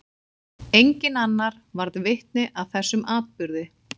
Enginn annar varð vitni að þessum atburði.